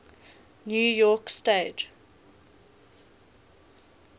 new york stage